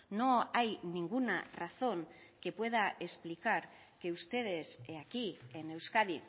no hay ninguna razón que pueda explicar que ustedes aquí en euskadi